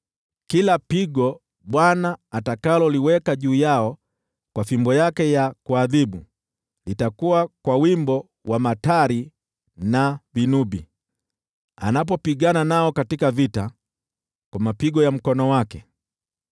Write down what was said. Kila pigo Bwana atakaloliweka juu yao kwa fimbo yake ya kuadhibu, litakuwa kwa wimbo wa matari na vinubi, anapopigana nao katika vita kwa mapigo ya mkono wake.